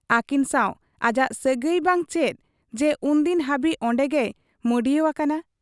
ᱟᱹᱠᱤᱱ ᱥᱟᱶ ᱟᱡᱟᱜ ᱥᱟᱹᱜᱟᱹᱭ ᱵᱟᱝ ᱪᱮᱫ ᱡᱮ ᱩᱱᱫᱤᱱ ᱦᱟᱹᱵᱤᱡ ᱚᱱᱰᱮᱜᱮᱭ ᱢᱟᱺᱰᱤᱭᱟᱹᱣ ᱟᱠᱟᱱᱟ ᱾